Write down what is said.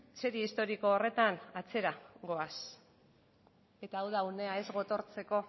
serie historiko horretan atzera goaz eta hau da unea ez gotortzeko